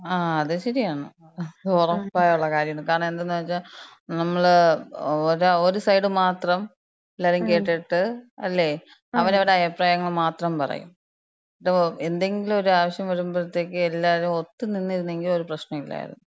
ആ അത് ശരിയാണ്. ഒറപ്പായുള്ള കാര്യാണ്. കാരണന്തെന്ന് വച്ചാ, നമ്മള് ഒരു, ഒരു സൈഡ് മാത്രം എല്ലാര്യേം കേട്ടിട്ട് അല്ലേ, അവരവര്ടെ അഭിപ്രായങ്ങള് മാത്രം പറയും. ദ്, എന്തെങ്കിലൊരാവശ്യം വര്മ്പഴ്ത്തേക്ക് എല്ലാരും ഒത്ത്നിന്നിര്ന്നെങ്കി ഒര് പ്രശ്നൂല്യായിര്ന്നു.